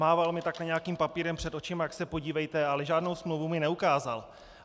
Mával mi takhle nějakým papírem před očima, tak se podívejte, ale žádnou smlouvu mi neukázal.